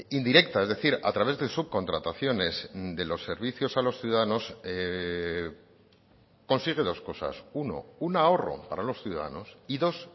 indirecta es decir a través de subcontrataciones de los servicios a los ciudadanos consigue dos cosas uno un ahorro para los ciudadanos y dos